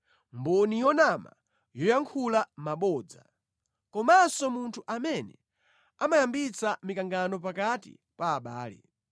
mboni yonama yoyankhula mabodza komanso munthu amene amayambitsa mikangano pakati pa abale.